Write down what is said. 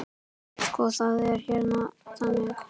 Sko, það er hérna þannig.